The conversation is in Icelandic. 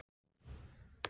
En það er gott að hafa Max.